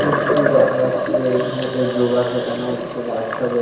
এইটি দেখা যাচ্ছে যে এইখানেতে যোগা শেখানো হচ্ছে বাচ্চাদের।